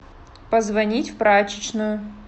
позвонить в прачечную